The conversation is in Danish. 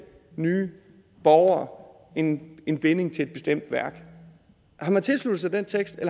nye borgere en en binding til et bestemt værk